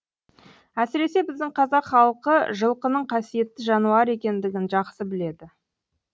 әсіресе біздің қазақ халқы жылқының қасиетті жануар екендігін жақсы біледі